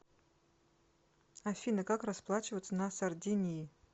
афина как расплачиваться на сардинии